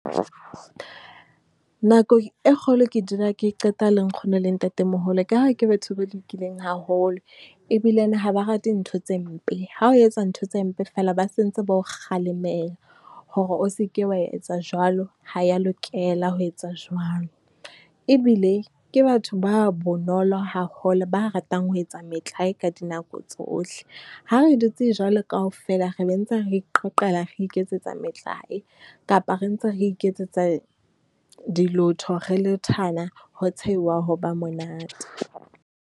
Nako e kgolo ke dula ke e qeta le nkgono le ntatemoholo ka ha ke batho ba lokileng haholo ebilane ha ba rate ntho tse mpe. Ha o etsa ntho tse mpe feela, ba sentse ba o kgalemela hore o seke wa etsa jwalo, ha e ya lokela ho etsa jwalo. Ebile ke batho ba bonolo haholo, ba ratang ho etsa metlae ka dinako tsohle. Ha re re dutse jwalo kaofela, re be ntse re iqoqela, re iketsetsa metlae kapa re ntse re iketsetsa dilotho, re lethana ho tshehuwa, ho ba monate.